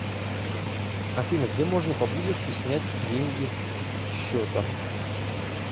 афина где можно поблизости снять деньги счета